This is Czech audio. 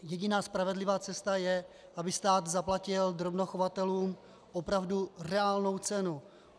Jediná spravedlivá cesta je, aby stát zaplatil drobnochovatelům opravdu reálnou cenu.